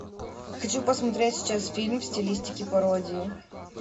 хочу посмотреть сейчас фильм в стилистике пародии